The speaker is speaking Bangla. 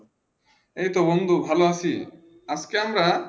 এই তো বন্ধু ভালো আছি আজকে আমরা একটি বিষয় নিয়ে কথা বলার প্রয়োজন মনে করলাম